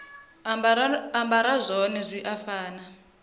ambara zwone zwi a fana